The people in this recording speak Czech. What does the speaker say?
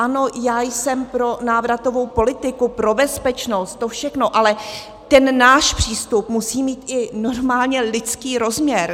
Ano, já jsem pro návratovou politiku, pro bezpečnost, to všechno, ale ten náš přístup musí mít i normálně lidský rozměr.